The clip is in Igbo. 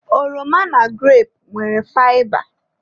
Oroma na grape nwere faịba.